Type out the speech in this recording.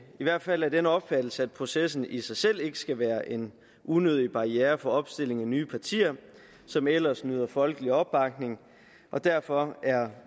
i hvert fald af den opfattelse at processen i sig selv ikke skal være en unødig barriere for opstilling af nye partier som ellers nyder folkelig opbakning og derfor er